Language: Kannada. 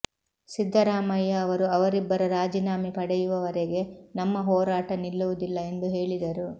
ಸಿದ್ದರಾಮಯ್ಯ ಅವರು ಅವರಿಬ್ಬರ ರಾಜೀನಾಮೆ ಪಡೆಯುವವರೆಗೆ ನಮ್ಮ ಹೋರಾಟ ನಿಲ್ಲುವುದಿಲ್ಲ ಎಂದು ಹೇಳಿದರು